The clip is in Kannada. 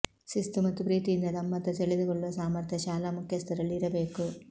ಶಿಸ್ತು ಮತ್ತು ಪ್ರೀತಿಯಿಂದ ತಮ್ಮತ್ತ ಸೆಳೆದುಕೊಳ್ಳುವ ಸಾಮರ್ಥ್ಯ ಶಾಲಾ ಮುಖ್ಯಸ್ಥರಲ್ಲಿ ಇರಬೇಕು